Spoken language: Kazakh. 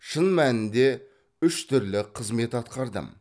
шын мәнінде үш түрлі қызмет атқардым